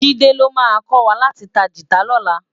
Jide ló má kòwá láti tá gitá lòlá